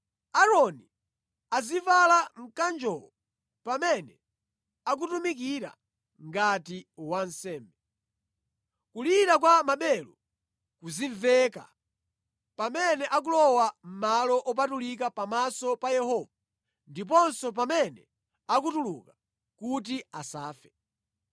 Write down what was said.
Aaroni azivala mkanjowo pamene akutumikira ngati wansembe. Kulira kwa maberu kuzimveka pamene akulowa mʼmalo opatulika pamaso pa Yehova ndiponso pamene akutuluka, kuti asafe.